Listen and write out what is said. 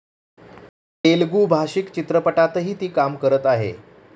तेलुगू भाषिक चित्रपटातही ती काम करत आहे.